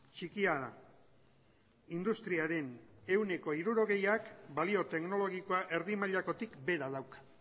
txikia da industriaren ehuneko hirurogeiak balio teknologikoa erdi mailakotik behera dauka